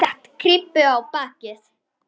Set kryppu á bakið.